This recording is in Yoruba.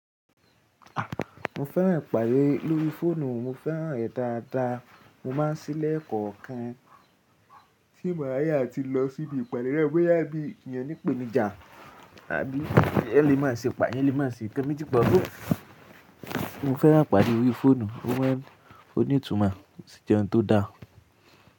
Mo fẹ́ràn ìpàdé lórí fóònù, mo fẹ́ràn rẹ̀ dáadáa. Mo máa ń sí lẹ̀kọ̀ọ̀kan tí màá yá ti lọ síbi ìpàdé rẹ, boya bí ènìyàn nípèníjà àbí ẹ lè má ṣe pàá, eeyan lè má ṣe nkan méjì papi Mo fẹ́ràn ìpàdé orí fóònù, ó ní ìtumọ̀ sí jẹ́ ohun tó da.